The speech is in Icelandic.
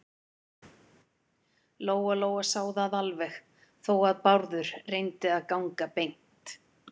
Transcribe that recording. Lóa-Lóa sá það alveg, þó að Bárður reyndi að ganga beint.